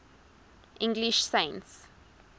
english saints